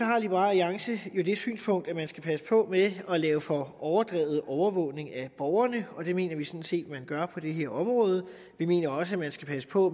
har liberal alliance det synspunkt at man skal passe på med at lave for overdrevet overvågning af borgerne og det mener vi sådan set man gør på det her område vi mener også at man skal passe på